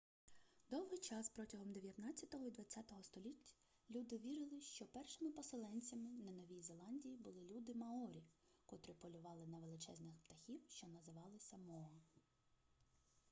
довгий час протягом дев'ятнадцятого і двадцятого століть люди вірили що першими поселенцями на новій зеландії були люди маорі котрі полювали на величезних птахів що називалися моа